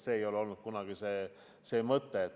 See ei ole olnud kunagi asja mõte.